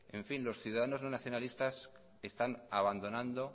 los ciudadanos no nacionalistas están abandonando